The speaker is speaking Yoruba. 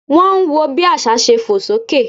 Wọ́n ń wọ bí àsá ṣe fò sókè